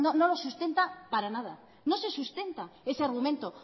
no lo sustenta para nada no se sustenta ese argumento